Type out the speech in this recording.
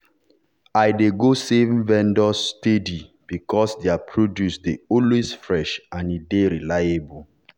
i dey go the same vendor steady because their produce dey always fresh and e dy reliable.